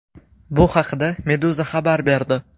Bu haqda Meduza xabar berdi.